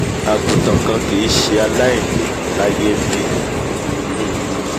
àgùntàn kan kìí ṣe aláìní l'áíyé n'bí! um